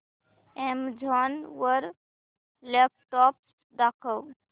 Amazon वर laptops दाखव